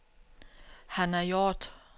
Hanna Hjort